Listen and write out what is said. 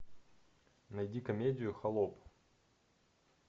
найди комедию холоп